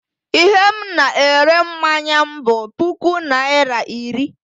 I he m na-ere mmanya m bụ puku naira iri.